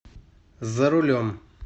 за рулем